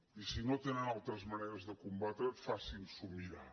i si no tenen altres maneres de combatre facin s’ho mirar